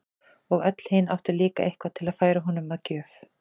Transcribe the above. Og öll hin áttu líka eitthvað til að færa honum að gjöf.